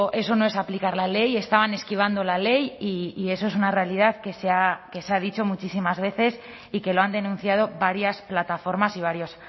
eso no es aplicar la ley estaban esquivando la ley y eso es una realidad que se ha dicho muchísimas veces y que lo han denunciado varias plataformas y varios